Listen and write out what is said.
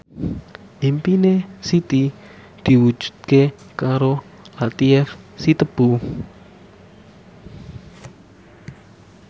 impine Siti diwujudke karo Latief Sitepu